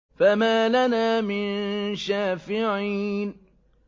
فَمَا لَنَا مِن شَافِعِينَ